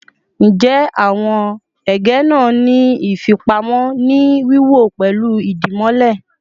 Njẹ awọn ege naa ni ifipamo ni wiwọ pẹlu dimole?